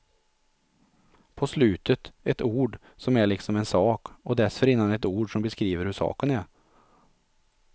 På slutet ett ord som är liksom en sak, och dessförinnan ett ord som beskriver hur saken är.